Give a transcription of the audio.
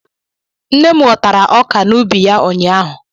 Nne m ghọtara ọkà n'ubi ya ụnyaahụ